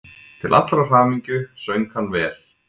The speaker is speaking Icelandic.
Til allrar hamingju söng hann vel!